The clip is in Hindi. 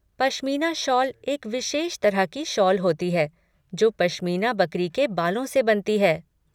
पश्मीना शॉल एक विशेष तरह की शॉल होती है जो पश्मीना बकरी के बालों से बनती है।